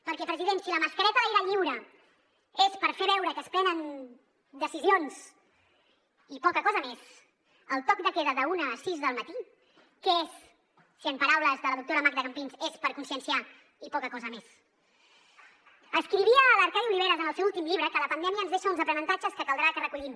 perquè president si la mascareta a l’aire lliure és per fer veure que es prenen decisions i poca cosa més el toc de queda d’una a sis del matí què és si en paraules de la doctora magda campins és per conscienciar i poca cosa més escrivia l’arcadi oliveres en el seu últim llibre que la pandèmia ens deixa uns aprenentatges que caldrà que recollim